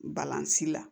Balan si la